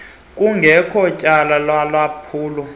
kungekho tyala lalwaphulo